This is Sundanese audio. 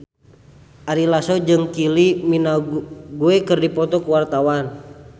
Ari Lasso jeung Kylie Minogue keur dipoto ku wartawan